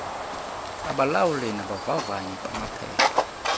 babalawuli nabavavanyi bamaphepha